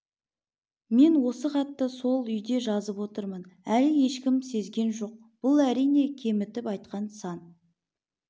мен осы хатты сол үйде жазып отырмын әлі ешкім сезген жоқ бұл әрине кемітіп айтқан сан